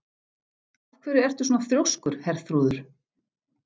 Af hverju ertu svona þrjóskur, Herþrúður?